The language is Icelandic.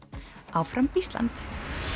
áfram Ísland